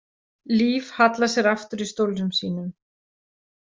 Líf hallar sér aftur í stólnum sínum.